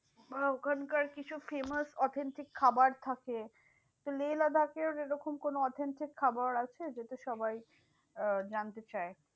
বা ওখানকার কিছু famous authentic খাবার থাকে। লেহ লাদাখের এরকম কোনো authentic খাবার আছে যেটা সবাই আহ জানতে চায়?